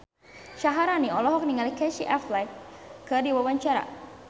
Syaharani olohok ningali Casey Affleck keur diwawancara